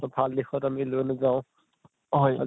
তʼ ভাল দিশত আমি লৈ নাযাওঁ, হয় আজি